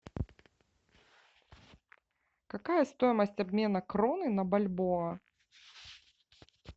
какая стоимость обмена кроны на бальбоа